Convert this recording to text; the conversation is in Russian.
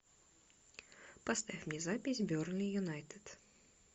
поставь мне запись бернли юнайтед